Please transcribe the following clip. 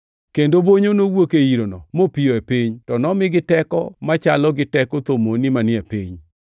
Kendo bonyo nowuok e yirono mopiyo e piny, to nomigi teko machalo gi teko thomoni manie piny.